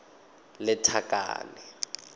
lethakane